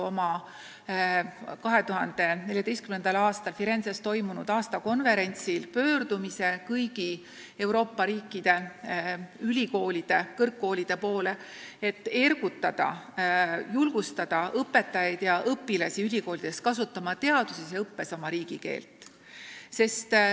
Oma 2014. aastal Firenzes toimunud aastakonverentsil tegi EFNIL pöördumise kõigi Euroopa riikide kõrgkoolide poole, et ergutada, julgustada õpetajaid ja õpilasi kõrgkoolides kasutama teadustöös ja õppes oma riigikeelt.